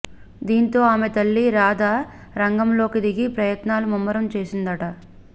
దీంతో ఆమె తల్లి రాధ రంగంలోకి దిగి ప్రయత్నాలు ముమ్మరం చేసిందట